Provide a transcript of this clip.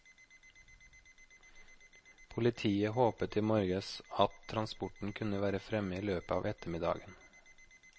Politiet håpet i morges at transporten kunne være fremme i løpet av ettermiddagen.